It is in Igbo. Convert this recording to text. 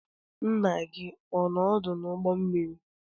Nna gị ọ nọ n'ọdụ ụgbọ mmiri?